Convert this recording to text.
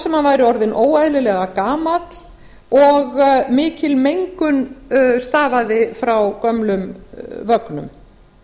sem hann væri orðinn óeðlilega gamall og mikil mengun stafaði frá gömlum vögnum